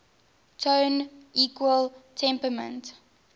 tone equal temperament